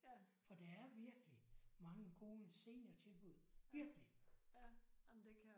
For der er virkelig mange gode seniortilbud virkelig